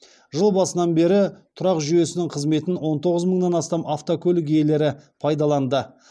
жыл басынан бері тұрақ жүйесінің қызметін он тоғыз мыңнан астам автокөлік иелері пайдаланды